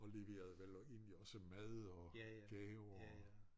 Og leverede vel egentlig også mad og gaver og